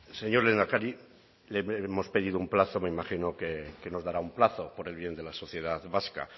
señor lehendakari le hemos pedido un plazo me imagino que nos dará un plazo por el bien de la sociedad vasca